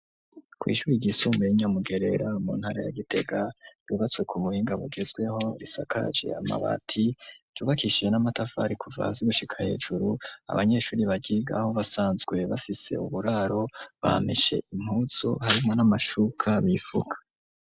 Kw’ishuri ryisumbuye, ry’i Nyamugerera, mu ntara ya Gitega, ryubatswe ku muhinga, bugezweho, risakaje amabati, ryubakishije n'amatafari, kuva hasi gushika hejuru; abanyeshuri, baryigaho, basanzwe bafise, uburaro; bameshe impuzu, harimwo n'amashuka, bifuka.